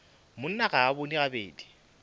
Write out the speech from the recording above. monna ga a bone gabedi